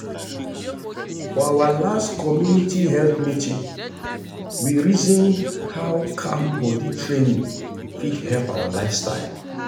for our last community health meeting we reason how calm body training fit help our lifestyle.